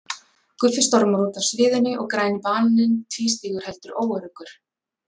Guffi stormar út af sviðinu og Græni bananinn tvístígur heldur óöruggur.